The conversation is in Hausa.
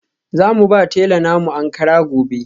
Za mu ba tela na mu Ankara gobe.